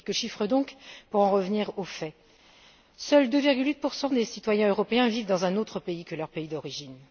Quelques chiffres donc pour en revenir aux faits seuls 2,8 des citoyens européens vivent dans un autre pays que leur pays d'origine.